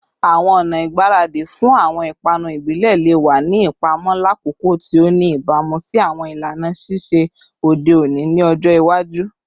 Awọn ọna igbaradi fun awọn ipanu ibile le wa ni ipamọ lakoko ti o ni ibamu si awọn ilana sise ode oni ni ọjọ iwaju